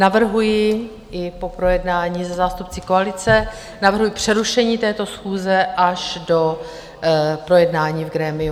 Navrhuji - i po projednání se zástupci koalice - navrhuji přerušení této schůze až do projednání v grémiu.